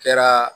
Kɛra